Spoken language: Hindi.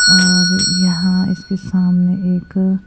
और यहाँ इसके सामने एक--